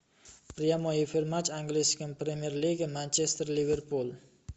прямой эфир матча английской премьер лиги манчестер ливерпуль